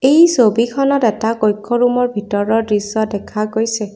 এই ছবিখনত এটা কক্ষ ৰুমৰ ভিতৰৰ দৃশ্য দেখা গৈছে।